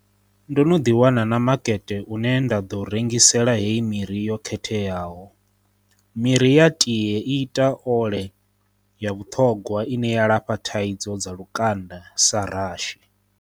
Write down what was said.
Ndo no ḓi wana na makete une nda ḓo u rengisela hei miri yo khetheaho. Miri ya tie i ita ole ya vhuṱhogwa ine ya lafha thaidzo dza lukanda sa rashi.